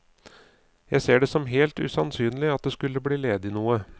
Jeg ser det som helt usannsynlig at det skulle bli ledig noe.